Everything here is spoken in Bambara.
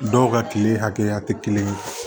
Dɔw ka kile hakɛya tɛ kelen ye